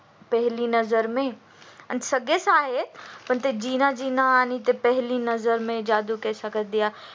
पहिली नजर मे आणि सगळे song आहेत पण जिना जिना आणि ते पेहेली नजर मे जादू कैसे कर दिया